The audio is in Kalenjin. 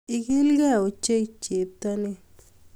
Igiligee ochei cheptonin